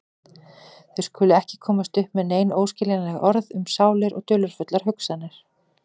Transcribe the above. Þau skulu ekki komast upp með nein óskiljanleg orð um sálir og dularfullar hugsanir.